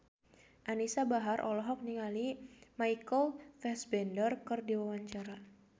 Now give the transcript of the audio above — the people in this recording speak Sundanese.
Anisa Bahar olohok ningali Michael Fassbender keur diwawancara